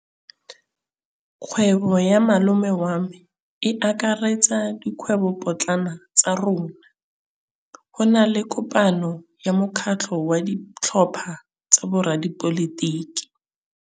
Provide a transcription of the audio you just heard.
Kgwêbô ya malome wa me e akaretsa dikgwêbôpotlana tsa rona. Go na le kopanô ya mokgatlhô wa ditlhopha tsa boradipolotiki.